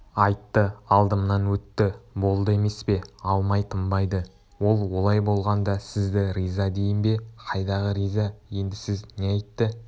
айтты алдымнан өтті болды емес пе алмай тынбайды ол олай болғанда сізді риза дейін бе қайдағы риза енді сіз не айтты